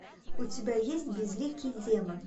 у тебя есть безликий демон